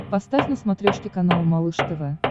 поставь на смотрешке канал малыш тв